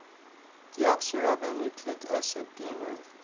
deoxyribonucleic acid dna